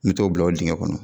Mi t'o bila o diŋɛ kɔnɔ